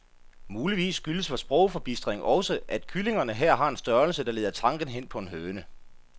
Muligvis skyldes vor sprogforbistring også, at kyllingerne her har en størrelse, der leder tanken hen på en høne.